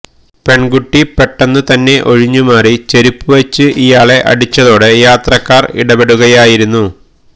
പെൺകുട്ടി പെട്ടെന്നു തന്നെ ഒഴിഞ്ഞുമാറി ചെരുപ്പുവച്ച് ഇയാളെ അടിച്ചതോടെ യാത്രക്കാര് ഇടപെടുകയായിരുന്നു